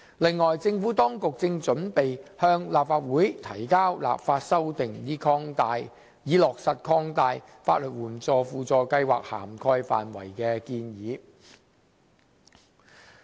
此外，政府當局正準備向立法會提交立法修訂，以落實擴大法律援助輔助計劃涵蓋範圍的建議。